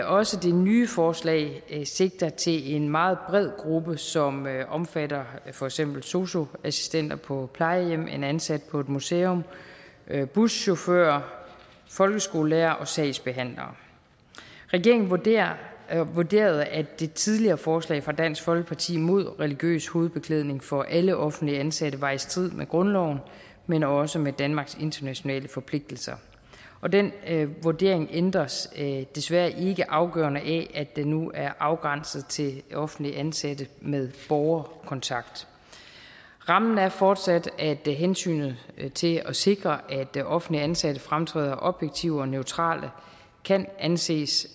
også det nye forslag sigter til en meget bred gruppe som omfatter for eksempel sosu assistenter på plejehjem en ansat på et museum buschauffører folkeskolelærere og sagsbehandlere regeringen vurderede at vurderede at det tidligere forslag fra dansk folkeparti mod religiøs hovedbeklædning for alle offentligt ansatte var i strid med grundloven men også med danmarks internationale forpligtelser den vurdering ændres desværre ikke afgørende af at det nu er afgrænset til offentligt ansatte med borgerkontakt rammen er fortsat at hensynet til at sikre at offentligt ansatte fremtræder objektivt og neutrale kan anses